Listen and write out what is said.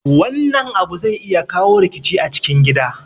Wannan abu zai iya kawo rikici a cikin gida